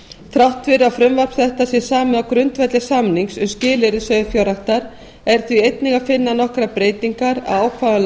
þrátt fyrir að frumvarp þetta sé samið á grundvelli samnings um skilyrði sauðfjárræktar er í því einnig að finna nokkrar breytingar á ákvæðum